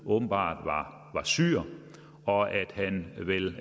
åbenbart var syrer og at han